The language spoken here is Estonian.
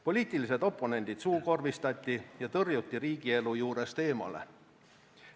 Poliitilised oponendid suukorvistati ja tõrjuti riigielu juurest eemale.